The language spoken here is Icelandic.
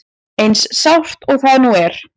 Eins sárt og það nú er.